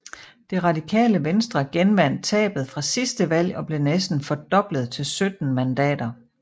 Det Radikale Venstre genvandt tabet fra sidste valg og blev næsten fordoblet til 17 mandater